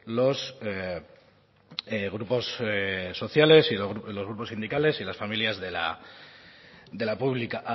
los grupos sociales y los grupos sindicales y las familias de la pública